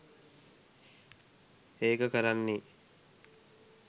ඒක කරන්නේ